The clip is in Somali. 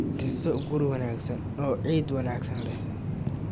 Dhiso guri wanaagsan oo ciid wanaagsan leh.